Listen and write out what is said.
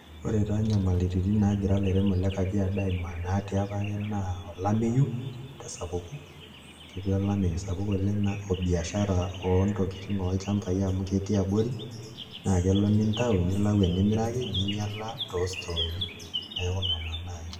Ore taa inyamalitin naagira ilairemok le Kajiado aimaa naatii apake naa olameyu tesapuko ketii olameyu sapuk oleng' o biashara ontokitin olchambai amu ketii abori naa kelo nitau nilau enimiraki ninyiala too stooni, neeku nena naai.